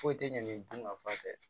Foyi tɛ ɲɛ nin dun ka fa fɛ